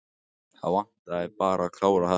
Það vantaði bara að klára þetta.